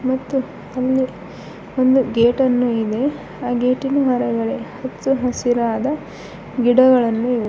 ಮತ್ತು ಅಲ್ಲಿ ಒಂದು ಗೇಟ್ ಅನ್ನು ಇದೆ ಆ ಗೇಟಿನ ಒಳಗಡೆ ಹಚ್ಚ ಹಸಿರಾದ ಗಿಡಗಳನ್ನು--